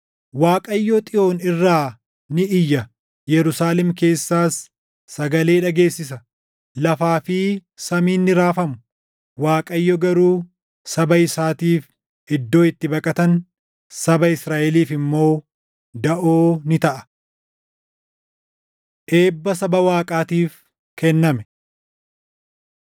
Waaqayyo Xiyoon irraa ni iyya; Yerusaalem keessaas sagalee dhageessisa; lafaa fi samiin ni raafamu. Waaqayyo garuu saba isaatiif iddoo itti baqatan, saba Israaʼeliif immoo daʼoo ni taʼa. Eebba Saba Waaqaatiif kenname